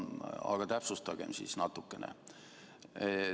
Aga täpsustagem siis natukene.